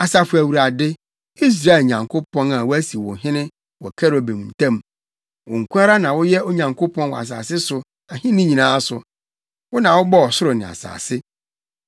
“Asafo Awurade, Israel Nyankopɔn a wɔasi wo hene wɔ Kerubim ntam. Wo nko ara na woyɛ Onyankopɔn wɔ asase so ahenni nyinaa so. Wo na wobɔɔ ɔsoro ne asase.